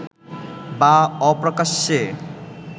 বা অপ্রকাশ্যে